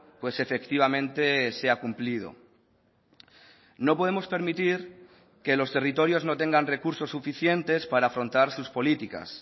pues efectivamente sea cumplido no podemos permitir que los territorios no tengan recursos suficientes para afrontar sus políticas